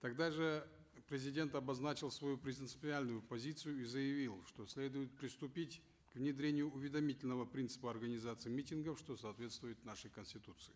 тогда же президент обозначил свою принципиальную позицию и заявил что следует приступить к внедрению уведомительного принципа организации митингов что соответствует нашей конституции